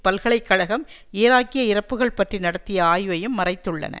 பல்கலை கழகம் ஈராக்கிய இறப்புக்கள் பற்றி நடத்திய ஆய்வையும் மறைத்துள்ளன